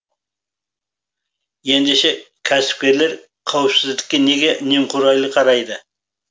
ендеше кәсіпкерлер қауіпсіздікке неге немқұрайлы қарайды